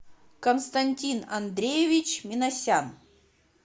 константин андреевич минасян